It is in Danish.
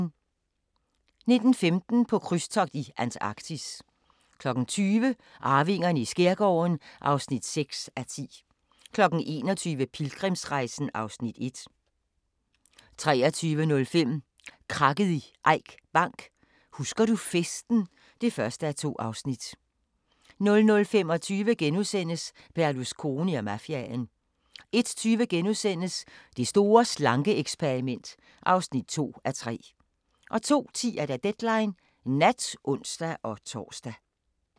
19:15: På krydstogt i Antarktis 20:00: Arvingerne i skærgården (6:10) 21:00: Pilgrimsrejsen (Afs. 1) 23:05: Krakket i Eik Bank: Husker du festen (1:2) 00:25: Berlusconi og mafiaen * 01:20: Det store slanke-eksperiment (2:3)* 02:10: Deadline Nat (ons-tor)